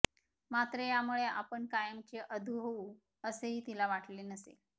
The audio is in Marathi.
मात्र यामुळे आपण कायमचे अधू होऊ असेही तिला वाटले नसेल